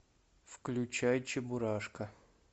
включай чебурашка